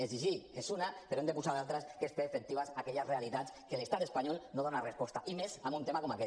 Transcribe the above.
exigir n’és una però n’hem de posar d’altres que és fer efectives aquelles realitats a què l’estat espanyol no dona resposta i més amb un tema com aquest